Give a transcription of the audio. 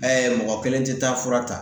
mɔgɔ kelen tɛ taa fura ta